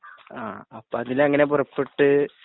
ആ അപ്പൊ അതിലെങ്ങനെ പുറപ്പെട്ടു